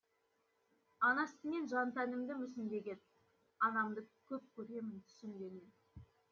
ана сүтімен жан тәнімді мүсіндеген анамды көп көремін түсімде мен